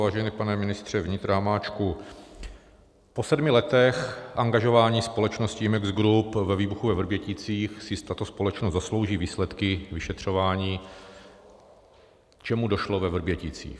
Vážený pane ministře vnitra Hamáčku, po sedmi letech angažování společnosti Imex Group ve výbuchu ve Vrběticích si tato společnost zaslouží výsledky vyšetřování, čemu došlo ve Vrběticích.